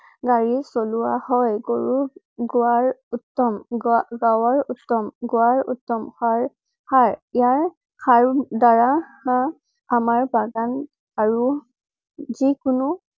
গাড়ি চলোৱা হয়। গৰুৰ গোৱাৰ উত্তম । গা~গাৱাৰ উত্তম।~গোৱাৰ উত্তম। সাৰ~সাৰ ইয়াৰ সাৰ~দ্বাৰা আমাৰ বাগান আৰু জী কোনো